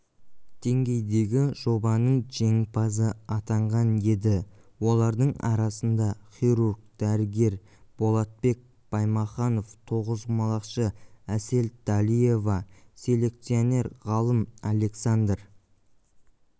деңгейдегі жобаның жеңімпазы атанған еді олардың арасында хирург-дәрігер болатбек баймаханов тоғызқұмалақшы әсел дәлиева селекционер-ғалым александр